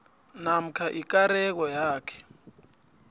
namkha ikareko yakhe